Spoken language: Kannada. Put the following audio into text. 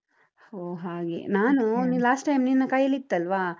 ಹೋ ಹಾಗೆ ನಾನು last time ನಿನ್ನ ಕೈಯಲ್ಲಿತ್ತಲ್ವಾ?